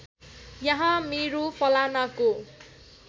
यहाँ मेरो फलानाको